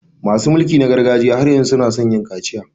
Masu mulki na gargajiya har yanzu su na so yin kaciya.